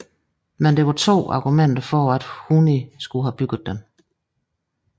Men der er to argumenter for at Huni skulle have bygget den